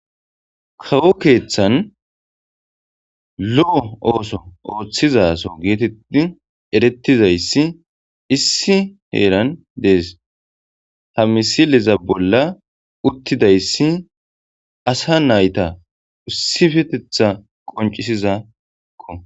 kawo keeththan lo7o ooso ooththizaso geetetti erettizayssi issi heeran dees ta misiliza bolla uttidayssi asa nayta ussifetetha qoncisizako